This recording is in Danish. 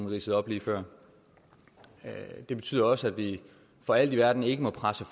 ridsede op lige før det betyder også at vi for alt i verden ikke må presse